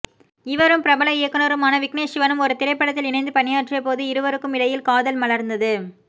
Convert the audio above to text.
இவரும் பிரபல இயக்குனருமான விக்னேஷ் சிவனும் ஒரு திரைப்படத்தில் இணைந்து பணியாற்றிய போது இருவருக்கும் இடையில் காதல் மலர்ந்தது